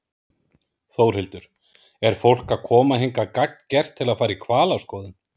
Þórhildur: Er fólk að koma hingað gagngert til að fara í hvalaskoðun?